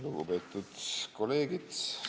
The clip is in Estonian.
Lugupeetud kolleegid!